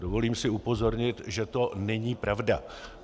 Dovolím si upozornit, že to není pravda.